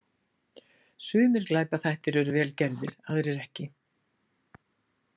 Sumir glæpaþættir eru vel gerðir, aðrir ekki.